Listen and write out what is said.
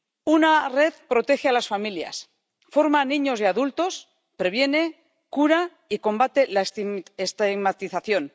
Una red protege a las familias, forma a niños y adultos, previene, cura y combate la estigmatización.